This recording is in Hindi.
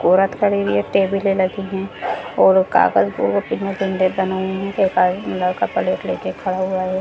औरत खड़ी हुई है टेबले लगी है और कागज लड़का प्लेट लेके खड़ा हुआ है और --